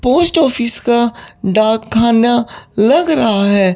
Post office का डाकखाना लग रहा है।